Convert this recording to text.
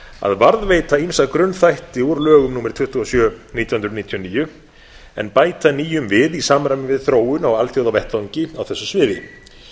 að varðveita ýmsa grunnþætti úr lögum númer tuttugu og sjö nítján hundruð níutíu og níu en bæta nýjum við í samræmi við þróun á alþjóðavettvangi á þessu sviði